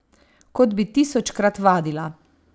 Kot bi tisočkrat vadila.